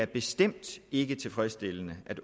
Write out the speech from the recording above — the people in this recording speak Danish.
bestemt ikke er tilfredsstillende at